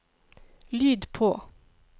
lyd på